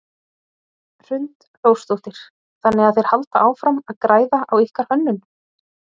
Hrund Þórsdóttir: Þannig að þeir halda áfram að græða á ykkar hönnun?